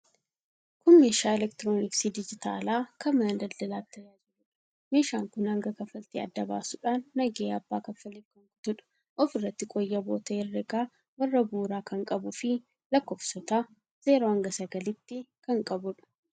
Kun meeshaa elektirooniksii dijitaalaa kan mana daldalaatti tajaajiluudha. Meeshaan kun hanga kanfaltii adda baasuudhaan nagahee abbaa kaffaleef kan kutuudha. Ofirraatii qooyyaboota herregaa warra bu'uuraa kan qabuu fi lakkoofsota 0-9'tti kan qabuudha.